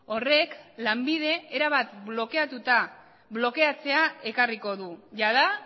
horrek lanbide erabat blokeatzea ekarriko du jada